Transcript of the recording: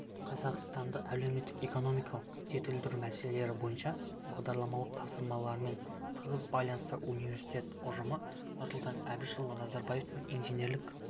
қазақстанды әлеуметтік-экономикалық жетілдіру мәселелері бойынша бағдарламалық тапсырмаларымен тығыз байланысты университет ұжымы нұрсұлтан әбішұлы назарбаевтың инженерлік